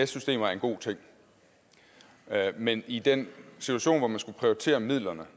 systemer er en god ting men i den situation hvor man skulle prioritere midlerne